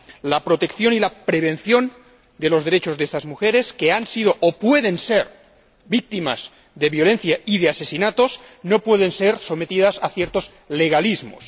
La protección y la prevención de los derechos de estas mujeres que han sido o pueden ser víctimas de violencia y de asesinatos no pueden ser sometidas a ciertos legalismos.